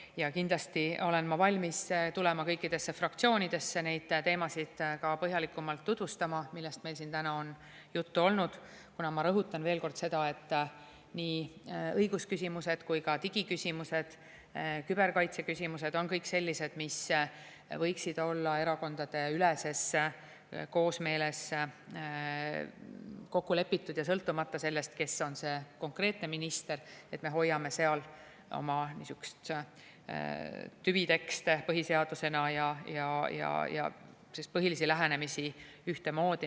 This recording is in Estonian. Ja kindlasti olen ma valmis tulema kõikidesse fraktsioonidesse põhjalikumalt tutvustama neid teemasid, millest meil siin täna on juttu olnud, kuna, ma rõhutan veel kord seda, nii õigusküsimused kui ka digiküsimused, küberkaitseküsimused on kõik sellised, mis võiksid olla erakondadeüleses koosmeeles kokku lepitud, sõltumata sellest, kes on konkreetne minister, et me hoiame seal oma niisugust tüviteksti põhiseadusena ja põhilisi lähenemisi ühtemoodi.